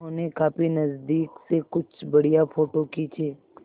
उन्होंने काफी नज़दीक से कुछ बढ़िया फ़ोटो खींचे